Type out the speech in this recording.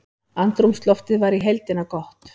Andrúmsloftið var í heildina gott